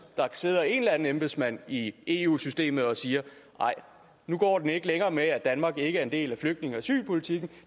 der sidder en eller anden embedsmand i eu systemet og siger nej nu går den ikke længere at danmark ikke er en del af flygtninge og asylpolitikken